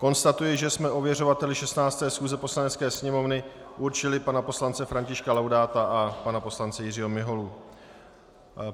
Konstatuji, že jsme ověřovateli 16. schůze Poslanecké sněmovny určili pana poslance Františka Laudáta a pana poslance Jiřího Miholu.